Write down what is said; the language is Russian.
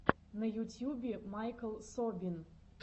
на ютьюбе майкл собин